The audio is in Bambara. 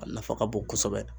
A nafa ka bon kosɛbɛ.